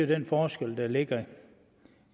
den forskel der ligger